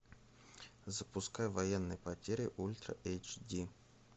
запускай военные потери ультра эйч ди